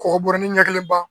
Kɔkɔ bɔrɛ ni ɲɛ kelen ma